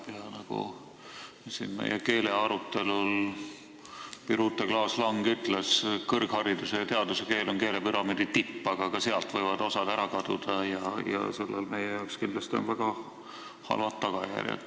Birute Klaas-Lang ütles siin meie keelearutelul, et kõrghariduse ja teaduse keel on keelepüramiidi tipp, aga ka sealt võivad osad ära kaduda ja sellel on meie jaoks kindlasti väga halvad tagajärjed.